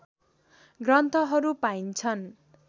ग्रन्थहरू पाइन्छन्